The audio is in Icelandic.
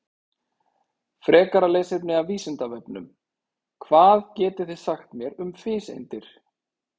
Frekara lesefni af Vísindavefnum: Hvað getið þið sagt mér um fiseindir?